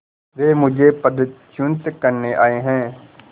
वे मुझे पदच्युत करने आये हैं